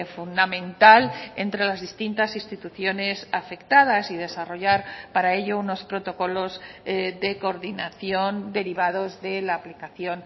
fundamental entre las distintas instituciones afectadas y desarrollar para ello unos protocolos de coordinación derivados de la aplicación